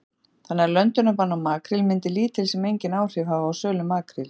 Þorbjörn: Þannig að löndunarbann á makríl myndi lítil sem enginn áhrif hafa á sölu makríls?